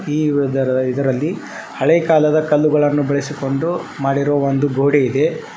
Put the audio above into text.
ಈ ಯುದರ- ಇದರಲ್ಲಿ ಹಳೆ ಕಾಲದ ಕಲ್ಲುಗಳನ್ನು ಬಳಸಿಕೊಂಡು ಮಾಡಿರುವ ಒಂದು ಗೋಡೆ ಇದೆ.